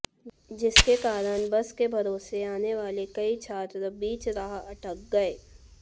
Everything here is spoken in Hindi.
जिसके कारण बस के भरोसे आनेवाले कई छात्र बीच राह अटक गए